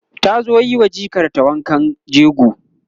ta zo yiwa jikar ta wankan jego